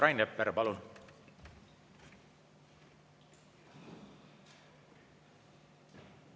Rain Epler, palun!